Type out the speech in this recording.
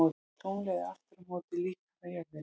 Tunglið er aftur á móti líkara jörðinni.